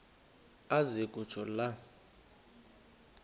aze kutsho la